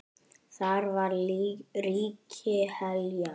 Þar var ríki Heljar.